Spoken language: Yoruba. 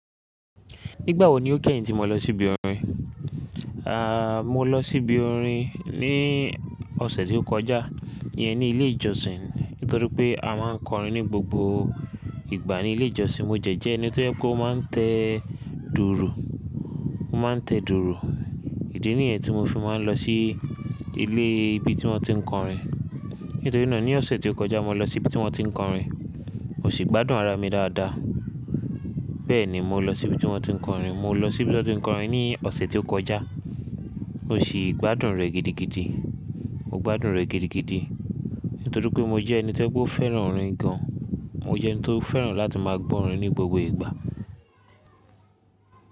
Nígbà wo ni o kẹ́yìn tí mo lọ sí ibi orin? Mo lọ sí ibi orin ní ọ̀sẹ̀ tí ó kọjá yẹn ní ilé ìjọsìn. Nítorí pé a máa ń kọrin ní gbogbo ìgbà ní ilé ìjọsìn. Mo jẹ jẹ́ ẹni tó jẹ pe o máa ń tẹ dùùrù, mo máa ń tẹ dùùrù. Ìdí nìyẹn tí mo fi máa ń lọ sí ilé ibi tí wọ́n ti ń kọrin. Nítorí náà ní ọ̀sẹ̀ tí ó kọjá mo lọ sí ibi tí wọ́n ti ń kọrin, mo sì gbádùn ara mi dáadáa. Bẹ́ẹ̀ ni mo lọ sí ibi tí wọ́n ti ń kọrin. Mo lọ sí ibi tí wọ́n ti ń kọrin ní ọ̀sẹ̀ tí ó kọjá. Mo sì gbádùn rẹ̀ gidigidi. Mo gbádùn rẹ̀ gidigidi. Nítorí pé mo jẹ́ ẹni tí ó fẹ́ràn orin gan an. Mo jẹ́ ẹni tó fẹ́ràn láti máa gbọ́ orin ní gbogbo ìgbà.